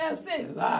É, sei lá.